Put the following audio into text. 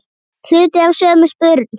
Hluti af sömu spurn.